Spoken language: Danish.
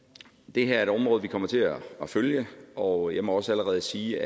det her er et område vi kommer til at følge og jeg må også allerede sige